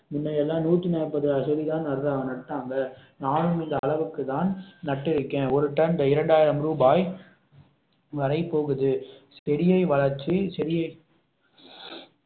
முன்ன எல்லாம் நூத்தி நாப்பது செடிதான் நடறா~ நட்டாங்க நானும் இந்த அளவுக்கு தான் நட்டு இருக்கேன் ஒரு டன் இரண்டாயிரம் ரூபாய் வரை போகுது செடியை வளர்ச்சி செடியை